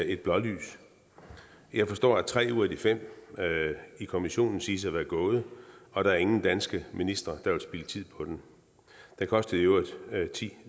et blålys jeg forstår at tre ud af de fem i kommissionen siges at være gået og der er ingen danske ministre der vil spilde tid på den den kostede i øvrigt ti